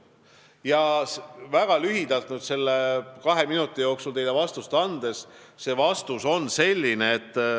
Kui nüüd teile väga lühidalt selle kahe minuti jooksul vastus anda, siis see on selline.